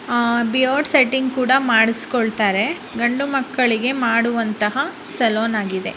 ಅ beard setting ಕೂಡ ಮಾಡ್ಸ್ಕೊಂಳಕ್ತಾರೆ ಗಂಡು ಮಕ್ಕಳಿಗೆ ಮಾಡುವಂತ ಸಲೂನ್ ಆಗಿದೆ.